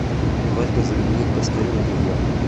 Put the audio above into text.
просьба заменить постельное белье